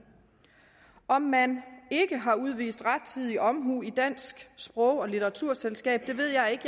om man ikke har udvist rettidig omhu i dansk sprog og litteraturselskab ved jeg ikke